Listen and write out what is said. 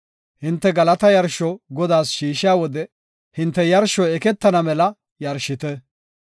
“Hinte galata yarsho Godaas shiishiya wode hinte yarshoy eketana mela yarshite.